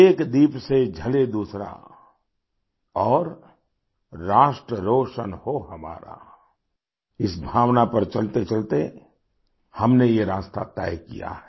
एक दीप से जले दूसरा और राष्ट्र रोशन हो हमारा इस भावना पर चलतेचलते हमने ये रास्ता तय किया है